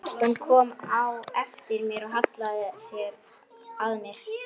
Hún kom á eftir mér og hallaði sér að mér.